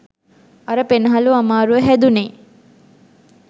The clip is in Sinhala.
අර පෙනහලු අමාරුව හැදුනේ